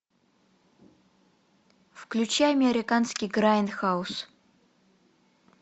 включай американский грайндхаус